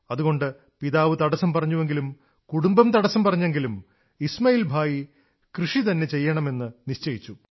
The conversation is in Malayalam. അതുകൊണ്ട് പിതാവ് തടസ്സം പറഞ്ഞുവെങ്കിലും കുടുംബം തടസ്സം പറഞ്ഞെങ്കിലും ഇസ്മാഇൽ ഭായി കൃഷിതന്നെ ചെയ്യുമെന്ന് നിശ്ചയിച്ചു